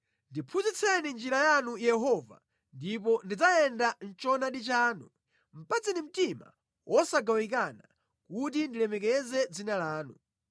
Ndiphunzitseni njira yanu Yehova, ndipo ndidzayenda mʼchoonadi chanu; patseni mtima wosagawikana kuti ndilemekeze dzina lanu.